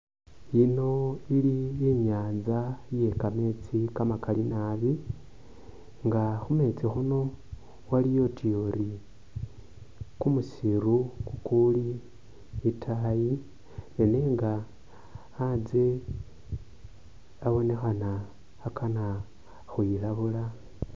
Yino ili i'nyaanza ye kameetsi kamakali nabi nga khu meetsi khuno waliyo utuya uri kumusiru kukuuli itaayi nenga anzye abonekhana akana khwilabula.